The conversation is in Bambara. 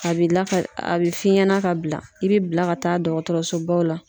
A bi lakali a bi f'i ɲɛna ka bila i bi bila ka taa dɔgɔtɔrɔso baw la.